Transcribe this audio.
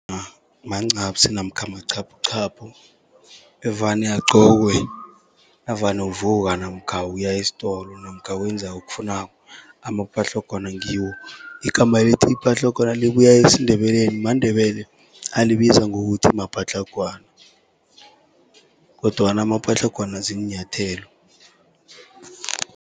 mancaphsi namkha machaphuchaphu evane agcokwe navane uvuka namkha uya esitolo, namkha wenza okufunako amapatlagwana ngiwo. Igama elithi patlagwana libuya esiNdebeleni, maNdebele alibiza ngokuthi mapatlagwana, kodwana amapatlagwana ziinyathelo.